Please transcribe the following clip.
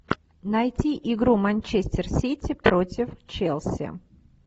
найти игру манчестер сити против челси